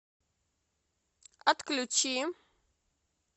отключи